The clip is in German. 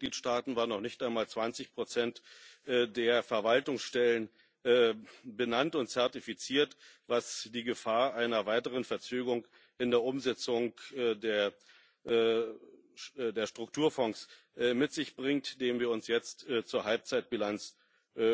In den Mitgliedstaaten waren noch nicht einmal 20 der Verwaltungsstellen benannt und zertifiziert, was die Gefahr einer weiteren Verzögerung in der Umsetzung der Strukturfonds mit sich bringt, der wir uns jetzt zur Halbzeitbilanz